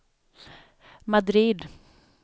Madrid